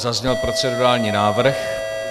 Zazněl procedurální návrh.